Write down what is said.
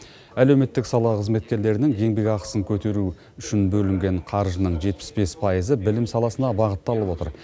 әлеуметтік сала қызметкерлерінің еңбек ақысын көтеру үшін бөлінген қаржының жетпіс бес пайызы білім саласына бағытталып отыр